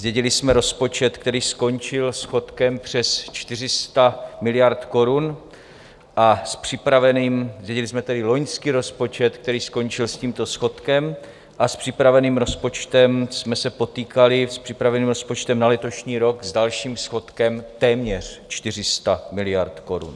Zdědili jsme rozpočet, který skončil schodkem přes 400 miliard korun, a s připraveným, zdědili jsme tedy loňský rozpočet, který skončil s tímto schodkem, a s připraveným rozpočtem jsme se potýkali, s připraveným rozpočtem na letošní rok, s dalším schodkem téměř 400 miliard korun.